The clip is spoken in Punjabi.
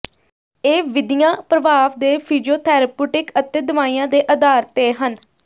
ਇਹ ਵਿਧੀਆਂ ਪ੍ਰਭਾਵ ਦੇ ਫਿਜ਼ੀਓਥੈਰਪੁਟਿਕ ਅਤੇ ਦਵਾਈਆਂ ਦੇ ਆਧਾਰ ਤੇ ਹਨ